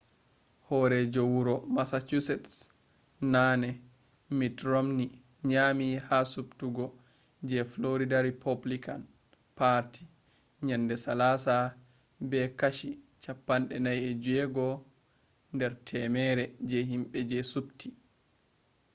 horeejo wuro massachusetts naane mitt romney nyami ha subtugo je florida rupublican parti yende salasa be kashi 46 der temere je himbe je subti